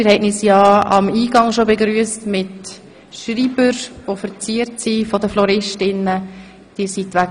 Sie haben uns ja bereits am Eingang begrüsst mit Schreibstiften, die von den Floristinnen und Floristen verziert worden sind.